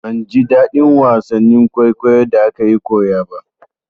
Ban ji daɗin wasannin kwaikwayon da akayi koya ba.